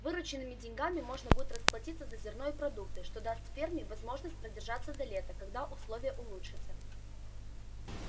вырученными деньгами можно будет расплатиться за зерно и продукты что даст ферме возможность продержаться до лета когда условия улучшатся